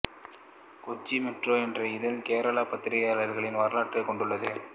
Kochi metro என்ற இதழ் கேரள பத்திரிகைகளின் வரலாற்றைக் கொண்டுள்ளது